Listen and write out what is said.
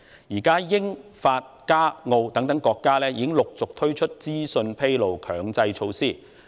現時，英國、法國、加拿大和澳洲等國家已陸續推出資訊披露強制措施。